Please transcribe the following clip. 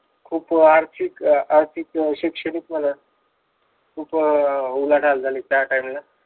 खूप आर्थिक अह आर्थिक शैक्षणिक म्हणा खूप अह उलाढाल झाली त्या time ला